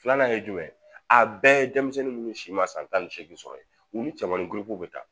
Filanan ye jumɛn ye a bɛɛ ye denmisɛnnin munnu si ma san tan ni seegin sɔrɔ ye u ni cɛmanin ko bɛ ta